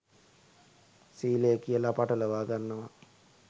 සීලය කියලා පටලවා ගන්නවා